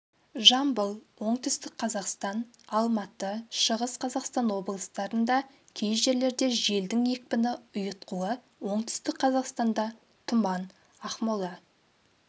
жамбыл оңтүстік қазақстан алматы шығыс қазақстан облыстарында кей жерлерде желдің екпіні ұйытқуы оңтүстік қазақстанда тұман ақмола